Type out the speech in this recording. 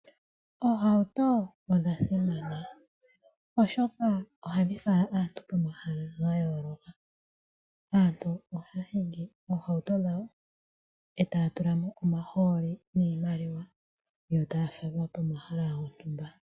Oohauto odha simana oshoka ohadhi fala aantu pomahala gayooloka. Aantu ohaya hingi oohauto dhawo etaya tula mo omahooli niimaliwa yotaya falwa pomahala gontumba.